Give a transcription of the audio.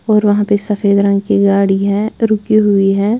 और वहाँ पे सफेद रंग की गाड़ी है रुकी हुई है।